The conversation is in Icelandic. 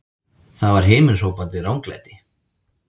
Það var himinhrópandi ranglæti!